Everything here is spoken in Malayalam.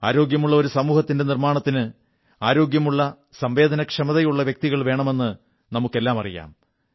ആരോഗ്യമുള്ള ഒരു സമൂഹത്തിന്റെ നിർമ്മാണത്തിന് ആരോഗ്യമുള്ള സംവേദനക്ഷമതയുള്ള വ്യക്തികൾ വേണമെന്ന് നമുക്കെല്ലാം അറിയാം